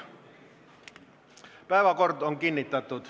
Päevakord on kinnitatud.